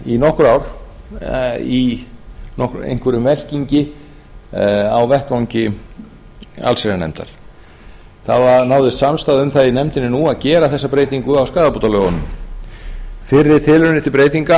í nokkur ár í einhverjum velkingi á vettvangi allsherjarnefndar það náðist samstaða um það í nefndinni nú að gera þessa breytingu á skaðabótalögunum fyrri tilraunir til breytinga